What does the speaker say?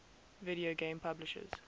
video game publishers